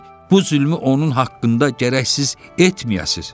Bu zülmü onun haqqında gərəksiz etməyəsiz.